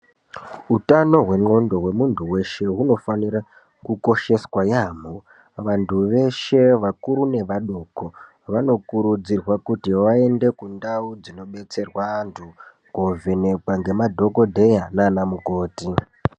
Hutano hwendxondo wemuntu weshe unofanika kukosheswa yaembo vantu veshe vakuru nevadoko vanokurudzirwa kuti vaende kundau dzinodetserwa vantu kovhenekwa nemadhokodheya nana mukoti.